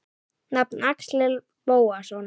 Nafn: Axel Bóasson